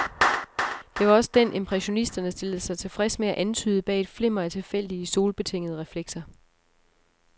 Det var også den, impressionisterne stillede sig tilfreds med at antyde bag et flimmer af tilfældige solbetingende reflekser.